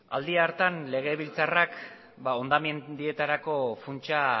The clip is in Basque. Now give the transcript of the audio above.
aldi hartan legebiltzarrak hondamendietarako funtsa